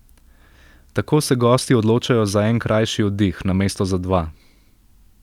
Tako se gosti odločajo za en krajši oddih, namesto za dva.